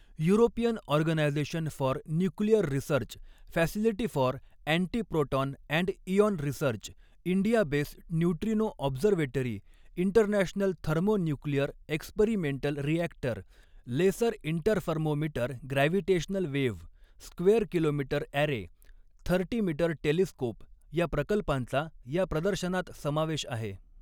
European organisation for nuclear research, facility for antiproton and ion research, India based neutrino observatory, international thermo nuclear experimental reactor, laser interferometer gravitational wave, square kilometre array, thirty metre telescope या प्रकल्पांचा या प्रदर्शनात समावेश आहे.